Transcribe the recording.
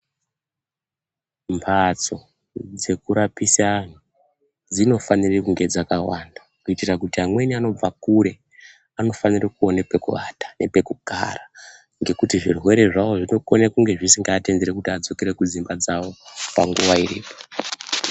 Mphatso dzekurapise anhu dzinofanire kunge dzakawanda, kuitira kuti amweni anobve kure anofanire kuone pekuwata, nepekugara, ngekuti zvirwere zvavo zvinokone kunge zvisingaatenderi kuti vadzokere kudzimba dzavo panguva iyi.